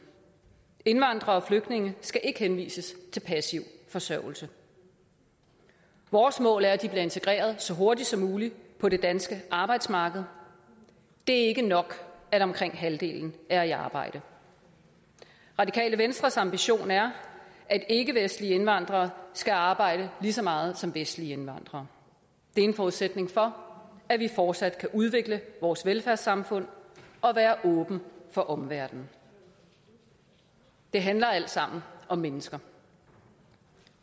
indvandrere og flygtninge skal ikke henvises til passiv forsørgelse vores mål er at de bliver integreret så hurtigt som muligt på det danske arbejdsmarked det er ikke nok at omkring halvdelen er i arbejde det radikale venstres ambition er at ikkevestlige indvandrere skal arbejde lige så meget som vestlige indvandrere det er en forudsætning for at vi fortsat kan udvikle vores velfærdssamfund og være åben for omverdenen det handler alt sammen om mennesker